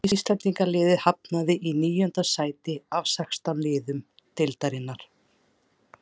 Íslendingaliðið hafnaði í níunda sæti af sextán liðum deildarinnar.